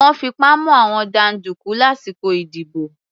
Wọ́n fipá mú àwọn jàǹdùkú lásìkò ìdìbò.